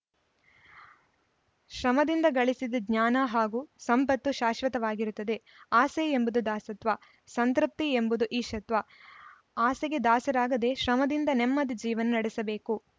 ಶ್ರಮದಿಂದ ಗಳಿಸಿದ ಜ್ಞಾನ ಹಾಗೂ ಸಂಪತ್ತು ಶಾಶ್ವತವಾಗಿರುತ್ತದೆ ಆಸೆ ಎಂಬುದು ದಾಸತ್ವ ಸಂತೃಪ್ತಿ ಎಂಬುದು ಈಶತ್ವ ಆಸೆಗೆ ದಾಸರಾಗದೆ ಶ್ರಮದಿಂದ ನೆಮ್ಮದಿ ಜೀವನ ನಡೆಸಬೇಕು